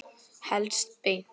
Helst beint.